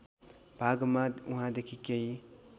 भागमा वहाँदेखि केही